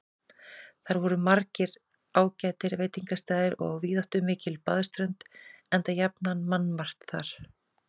Þar voru margir ágætir veitingastaðir og víðáttumikil baðströnd, enda jafnan mannmargt þar.